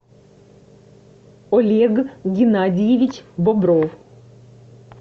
олег геннадьевич бобров